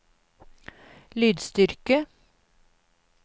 lydstyrke